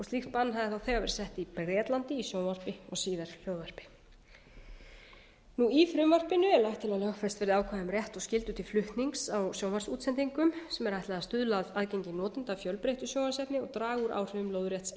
slíkt bann hafði þá þegar verið sett í bretlandi í sjónvarpi og síðar hljóðvarpi í frumvarpinu er lagt til að lögfest verði ákvæði um rétt og skyldu til flutnings á sjónvarpsútsendingum sem er ætlað að stuðla að aðgengi enda af fjölbreyttu sjónvarpsefni og draga úr áhrifum lóðrétts